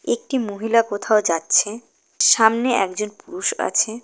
একটি মহিলা কোথাও যাচ্ছে সামনে একজন পুরুষ আছে।